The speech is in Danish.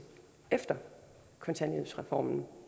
efter kontanthjælpsreformen